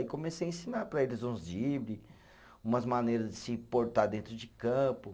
E comecei ensinar para eles uns dribles, umas maneiras de se portar dentro de campo.